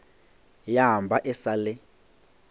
ya ba e sa le